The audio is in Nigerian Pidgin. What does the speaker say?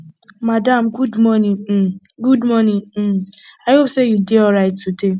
madam good morning um good morning um i hope say you dey alright today